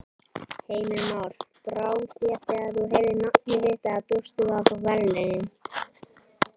Heimir Már: Brá þér þegar þú heyrðir nafnið þitt eða bjóstu við að fá verðlaunin?